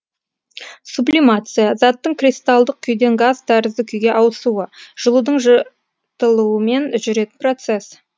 сублимация заттың кристалдық күйден газ тәрізді күйге ауысуы жылудың жұ тылуымен жүретін процесс